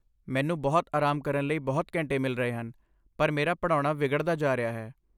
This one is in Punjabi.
ਮੈਨੂੰ ਬਹੁਤ ਆਰਾਮ ਕਰਨ ਲਈ ਬਹੁਤ ਘੰਟੇ ਮਿਲ ਰਹੇ ਹਨ, ਪਰ ਮੇਰਾ ਪੜ੍ਹਾਉਣਾ ਵਿਗੜਦਾ ਜਾ ਰਿਹਾ ਹੈ।